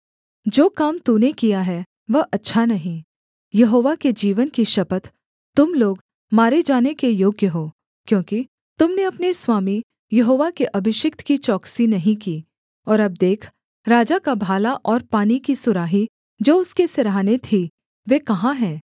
जो काम तूने किया है वह अच्छा नहीं यहोवा के जीवन की शपथ तुम लोग मारे जाने के योग्य हो क्योंकि तुम ने अपने स्वामी यहोवा के अभिषिक्त की चौकसी नहीं की और अब देख राजा का भाला और पानी की सुराही जो उसके सिरहाने थी वे कहाँ हैं